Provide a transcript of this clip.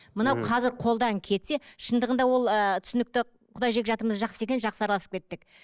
мынау қазір қолдан кетсе шындығында ол ыыы түсінікті құда жекжатымыз жақсы екен жақсы араласып кеттік